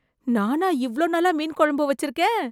நானா இவ்வளவு நல்லா மீன் குழம்பு வச்சிருக்கேன்!